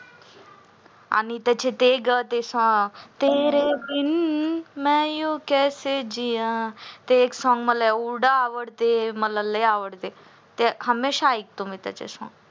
आणि त्याचे ते ते song तेरे बिन मी यू कैसे जिया ते एक song मला एव्हड आवडते मला लई आवडते हमेशा ऐकतो मी त्याचे song